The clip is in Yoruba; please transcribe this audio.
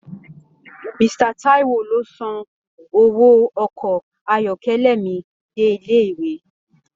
Mr Taiwo ló sàn owó ọkọ ayọkẹlẹ mí dé ilé ìwé.